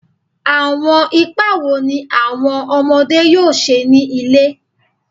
Awọn ipa wo ni awọn ọmọde yoo ṣe ni ile?